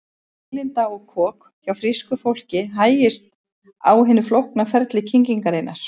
Vélinda og kok Hjá frísku fólki hægist á hinu flókna ferli kyngingarinnar.